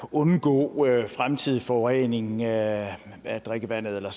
undgå fremtidig forurening af af drikkevandet eller